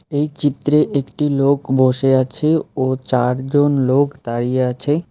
এই চিত্রে একটি লোক বসে আছে ও চারজন লোক দাঁড়িয়ে আছে।